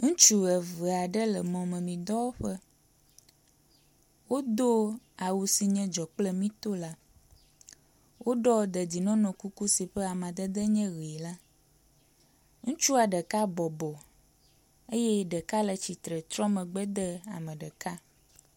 ŋutsu eveaɖe le mɔmemì dɔwɔƒe wodó awu si nye dzɔkple míto la wóɖɔ dedienɔnɔ kuku si ƒe amadede nye ɣi la ŋutsua ɖeka bɔbɔ eye ɖeka le tsitsre trɔ megbe de ame ɖeka